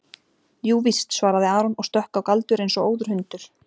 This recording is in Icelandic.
Jú víst, svaraði Aron og stökk á Galdur eins og óður hundur.